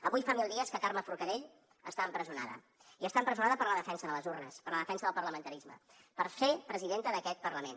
avui fa mil dies que carme forcadell està empresonada i està empresonada per la defensa de les urnes per la defensa del parlamentarisme per ser presidenta d’aquest parlament